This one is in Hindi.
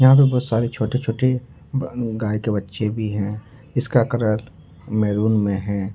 यहां पर बहोत सारे छोटे छोटे गाय के बच्चे भी हैं इसका कलर मैरून में है।